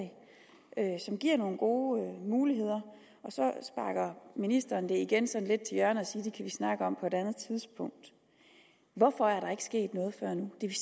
der er som giver nogle gode muligheder og så sparker ministeren det igen sådan lidt til hjørne og siger at vi snakke om på et andet tidspunkt hvorfor er der ikke sket noget før nu det er